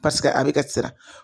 a bɛ ka siran